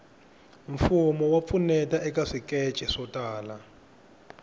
mfumo wa pfuneta eka swikece swo tala